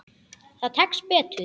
Það tekst betur.